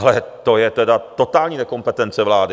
Ale to je tedy totální nekompetence vlády.